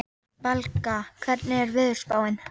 Valka, hvernig er veðurspáin?